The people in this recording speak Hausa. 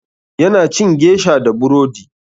Ya na cin gesha da burodi.